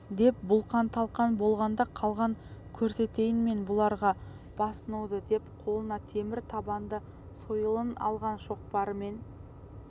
деп бұлқан-талқан болған да қалған көрсетейін мен бұларға басынуды деп қолына темір табанды сойылын алған шоқпарымен